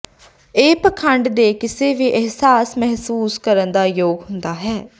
ਇਹ ਪਖੰਡ ਦੇ ਕਿਸੇ ਵੀ ਅਹਿਸਾਸ ਮਹਿਸੂਸ ਕਰਨ ਦੇ ਯੋਗ ਹੁੰਦਾ ਹੈ